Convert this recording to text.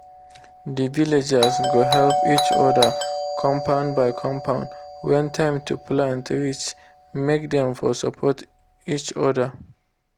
the villagers go help each other compound by compound when time to plant reach make dem for support each other.